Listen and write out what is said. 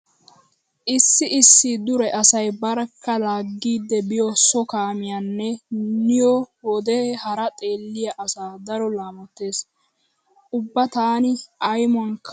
Issi issi dure asay barkka laagiiddi biyo so kaamiyan niyo wode hara xeeliya asaa daro laamottees. Ubba taani aymuwaanikka a qoppays.